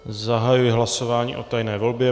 Zahajuji hlasování o tajné volbě.